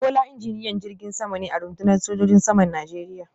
Bola injiniyan jirgin sama ne a rundunar sojojin saman Najeriya